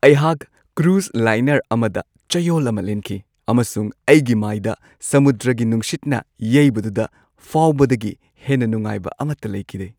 ꯑꯩꯍꯥꯛ cruise liner ꯑꯃꯗ ꯆꯌꯣꯜ ꯑꯃ ꯂꯦꯟꯈꯤ, ꯑꯃꯁꯨꯡ ꯑꯩꯒꯤ ꯃꯥꯏꯗ ꯁꯃꯨꯗ꯭ꯔꯒꯤ ꯅꯨꯡꯁꯤꯠꯅ ꯌꯩꯕꯗꯨꯗ ꯐꯥꯎꯕꯗꯒꯤ ꯍꯦꯟꯅ ꯅꯨꯡꯉꯥꯏꯕ ꯑꯃꯠꯇ ꯂꯩꯈꯤꯗꯦ꯫